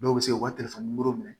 Dɔw bɛ se ka u ka telefɔni minɛ